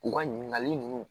U ka ɲininkali ninnu